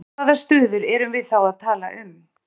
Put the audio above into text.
Hvaða stöður erum við þá að tala um?